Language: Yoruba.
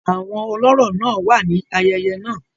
Àwọn olọ́rọ̀ náà wà ní ayẹyẹ náà.